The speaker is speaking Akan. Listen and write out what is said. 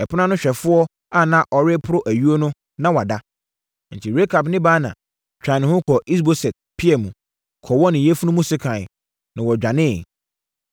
Ɛpono ano hwɛfoɔ a na ɔreporo ayuo no, na wada. Enti Rekab ne Baana twaa ne ho kɔɔ Is-Boset pia mu, kɔwɔɔ ne yafunu mu sekan, na wɔdwaneeɛ.